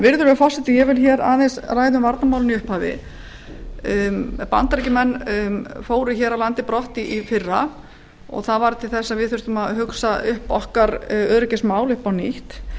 virðulegur forseti ég vil ræða aðeins um varnarmálin bandaríkjamenn fóru af landinu í fyrra sem varð til þess að við þurftum að hugsa öryggismál okkar upp á nýtt